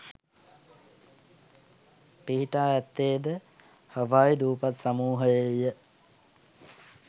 පිහිටා ඇත්තේ ද හවායි දූපත් සමූහයේය